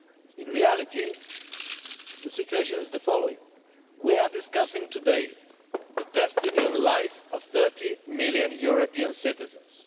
In reality, the situation is the following we are discussing today the destiny and life of 30 million European citizens.